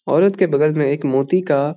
औरत के बगल में एक मोती का--